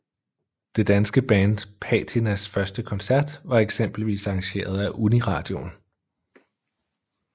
Det danske band Patinas første koncert var eksempelvis arrangeret af Uniradioen